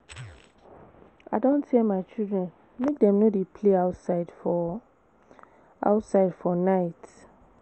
I don tell my children make dem no dey play outside for outside for night